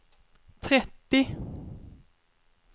trettio